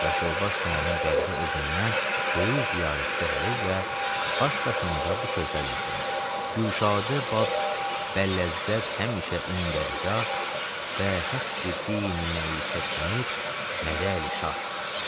Yaşılbaş sonanın qəbri o gündən böyük ziyarətgah olub və baş daşında bu sözlər yazılıb: Güşadə bəd, bəlləzzət həmişə indər gah və həqqi dini məişət həmid mədəli şah.